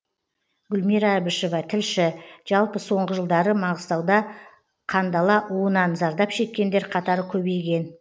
гүлмира әбішева тілші жалпы соңғы жылдары маңғыстауда қандала уынан зардап шеккендер қатары көбейген